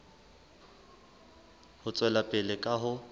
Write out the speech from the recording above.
ho tswela pele ka ho